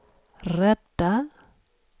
rädda